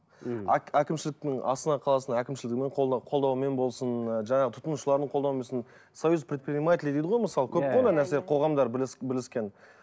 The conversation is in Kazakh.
әкімшіліктің астана қаласының әкімшілігімен қолдауымен болсын жаңағы тұтынушылардың қолдауымен болсын союз предпринимателей дейді ғой мысалы көп қой ондай нәрсе қоғамдар бірлескен